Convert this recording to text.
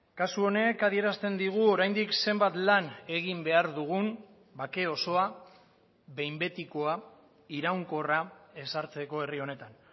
kasu honek adierazten digu oraindik zenbat lan egin behar dugun bake osoa behin betikoa iraunkorra ezartzeko herri honetan